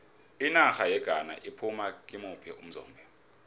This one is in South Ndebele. inarha yeghana iphume kimuphi umzombe